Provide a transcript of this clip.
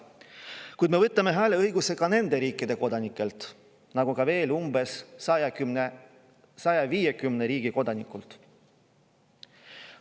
Kuid me võtame hääleõiguse ka nende riikide kodanikelt, nagu ka veel umbes 150 riigi kodanikult.